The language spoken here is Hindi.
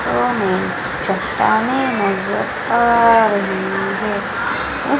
हमें चट्टानें नजर आ रही हैं।